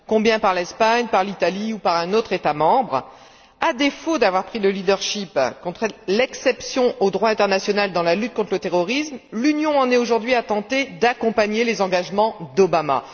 Combien par l'Espagne, par l'Italie ou par un autre État membre? À défaut d'avoir pris le leadership contre l'exception au droit international dans la lutte contre le terrorisme, l'Union en est aujourd'hui à tenter d'accompagner les engagements d'Obama.